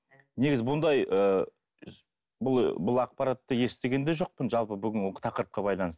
негізі бұндай ыыы бұл бұл ақпаратты естіген де жоқпын жалпы бүгінгі тақырыпқа байланысты